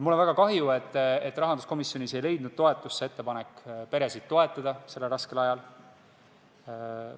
Mul on väga kahju, et rahanduskomisjonis ei leidnud toetust meie ettepanek peresid sellel raskel ajal toetada.